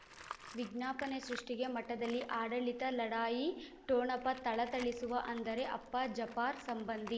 ವಿಜ್ಞಾಪನೆ ಸೃಷ್ಟಿಗೆ ಮಠದಲ್ಲಿ ಆಡಳಿತ ಲಢಾಯಿ ಠೊಣಪ ಥಳಥಳಿಸುವ ಅಂದರೆ ಅಪ್ಪ ಜಪಾರ್ ಸಂಬಂಧಿ